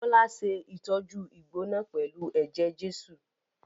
Bọ́lá ṣe ìtọ́jú ìgbóná pẹ̀lú ẹ̀jẹ̀ Jésù